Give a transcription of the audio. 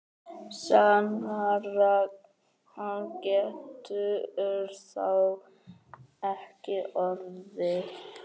Sannara getur það ekki orðið.